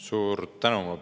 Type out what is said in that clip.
Suur tänu!